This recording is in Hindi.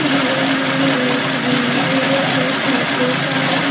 बगल में एक विंडो है जो शीशे का है.